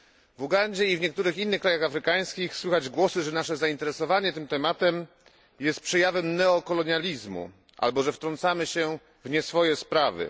W Ugandzie i w niektórych krajach afrykańskich słychać głosy, że nasze zainteresowanie tym tematem jest przejawem neokolonializmu albo, że wtrącamy się w nieswoje sprawy.